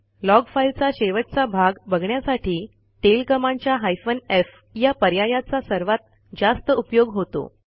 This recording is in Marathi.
लॉग फाईलचा शेवटचा भाग बघण्यासाठी टेल कमांडच्या हायफेन एफ या पर्यायाचा सर्वात जास्त उपयोग होतो